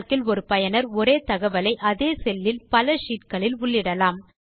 Calc இல் ஒரு பயனர் ஒரே தகவலை அதே செல்லில் பல ஷீட் களில் உள்ளிடலாம்